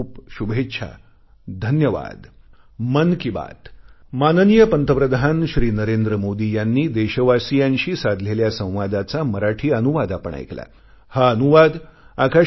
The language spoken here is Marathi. खूपखूप शुभेच्छा धन्यवाद